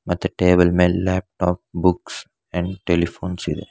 ಮತ್ತೆ ಟೇಬಲ್ ಮೇಲ್ laptop books and telephones ಇದೆ.